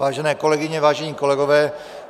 Vážené kolegyně, vážení kolegové.